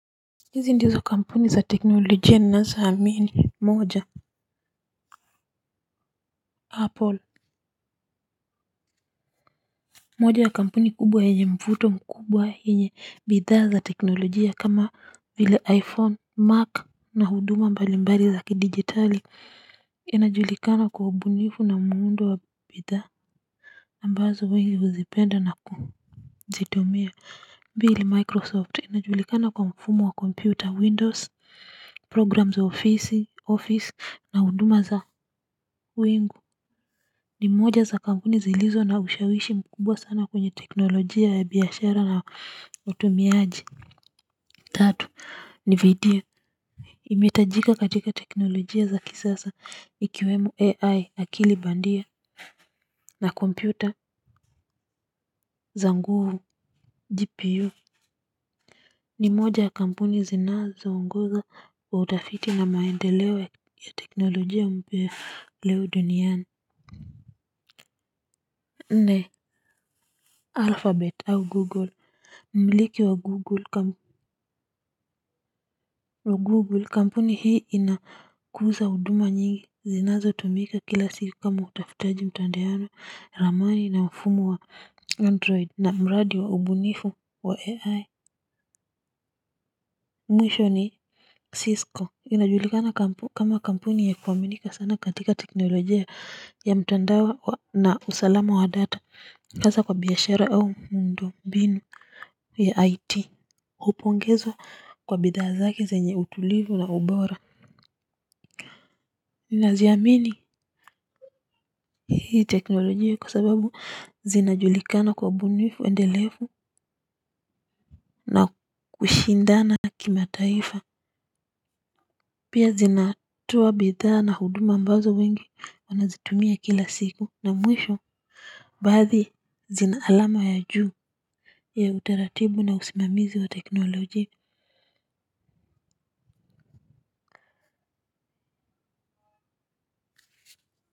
Hizi ndizo kampuni za teknolojia ni naso hamini moja apple moja ya kampuni kubwa yenye mvuto mkubwa yenye bidha za teknolojia kama vile iphone mac na huduma mbali mbali zaki digitali inajulikana kwa ubunifu na muundo wa bidha ambazo wengi uzipenda na kuzitumia vile microsoft inajulikana kwa mfumo wa computer windows program za office na huduma za wingu ni moja za kampuni zilizo na ushawishi mkubwa sana kwenye teknolojia ya biyashara na utumiaji tatu ni video imetajika katika teknolojia za kisasa ikiwemoo AI akilibandia na kompyuta za nguvu GPU ni moja ya kampuni zinazo ungoza wa utafiti na maendelewe ya teknolojia umbeleo duniani nne alphabete au google mliki wa google kampuni hii inakuza huduma nyingi zinazo tumika kila siri kama utafutaji mtandaono ramani na mfumu wa android na mradi wa ubunifu wa ai mwisho ni cisco inajulikana kampuni kama kampuni ya kuwaminika sana katika teknolojia ya mtandao na usalama wa data hasa kwa biyashara au mundo mbinu ya it upongezwa kwa bidhaa zake zenye utulivu na ubora ninaziamini hii teknolojia kwa sababu zina julikana kwa ubunifu endelefu na kushindana kimataifa pia zinatoa bidhaa na huduma ambazo wengi wanazitumia kila siku na mwisho baadhi zina alama ya juu ya utaratibu na usimamizi wa teknolojia.